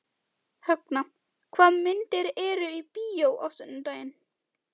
Högna, hvaða myndir eru í bíó á sunnudaginn?